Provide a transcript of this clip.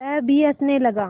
वह भी हँसने लगा